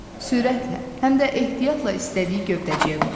Sürətlə, həm də ehtiyatla istədiyi gövdəciyə qonur.